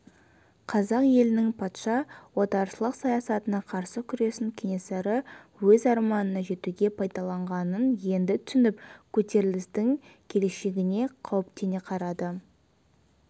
қазақ елінің патша отаршылық саясатына қарсы күресін кенесары өз арманына жетуге пайдаланғанын енді түсініп көтерілістің келешегіне қауіптене қарады